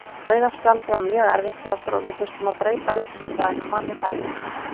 Rauða spjaldið var mjög erfitt fyrir okkur og við þurftum að breyta leikskipulaginu manni færri.